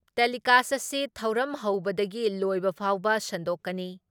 Telecast ꯑꯁꯤ ꯊꯧꯔꯝ ꯍꯧꯕꯗꯒꯤ ꯂꯣꯏꯕ ꯐꯥꯎꯕ ꯁꯟꯗꯣꯛꯀꯅꯤ ꯫